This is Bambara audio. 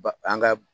Ba an ka